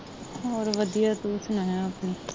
ਹੋਰ ਵਧਿਆ ਤੂੰ ਸੁਣਾ ਆਪਣੀ